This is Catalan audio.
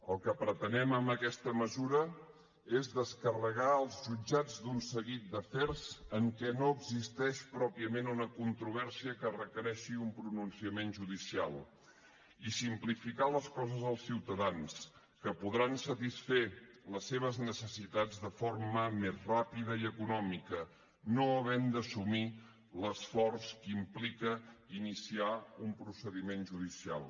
el que pretenem amb aquesta mesura és descarregar els jutjats d’un seguit d’afers en què no existeix pròpiament una controvèrsia que requereixi un pronunciament judicial i simplificar les coses als ciutadans que podran satisfer les seves necessitats de forma més ràpida i econòmica no havent d’assumir l’esforç que implica iniciar un procediment judicial